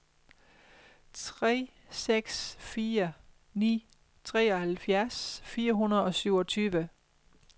tre seks fire ni treoghalvfjerds fire hundrede og syvogtyve